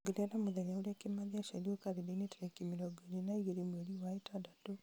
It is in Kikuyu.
ongerera mũthenya ũrĩa kĩmathi aciarirwo karenda-inĩ tarĩki mĩrongo ĩrĩ na ĩgĩrĩ mweri wa ĩtandatũ